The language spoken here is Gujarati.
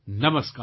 નમસ્કાર